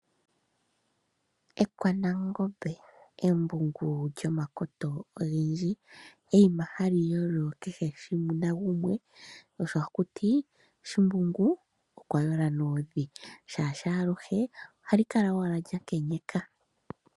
Ekwanekamba, embungu lyomakoto ogendji. Eyima hali yolo nakehe gumwe, sho osho haku ti shimbungu okwa yola noondhi, shaashi aluhe ohali kala owala lya nkenyeka.